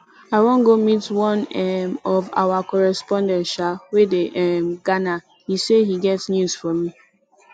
i wan go meet one um of our correspondent um wey dey um ghana he say he get news for me